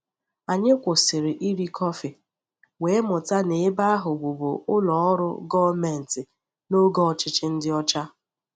Anyị kwụsịrị iri kọfị, wee mụta na ebe ahụ bụbu ụlọ ọrụ gọọmenti n'oge ọchịchị ndị ọcha.